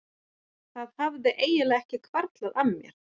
Það hafði einfaldlega ekki hvarflað að mér.